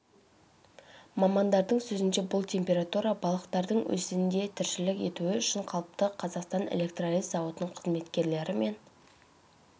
мамандардың сөзінше бұл температура балықтардың өзенде тіршілік етуі үшін қалыпты қазақстан электролиз зауытының қызметкерлері мен